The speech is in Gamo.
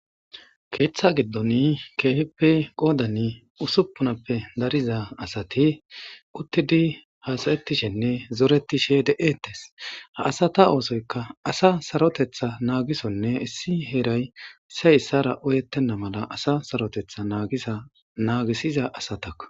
Keeththa giddon keehippe qoodan usuppunappe dariza asati uttidi haasa'etishenne zaretishe de'etes. Ha asata oosoykka asa saroteththa naagisonne issi heera issi issara ooyettena mala asa sarsaroteththa naagisiza asatakko..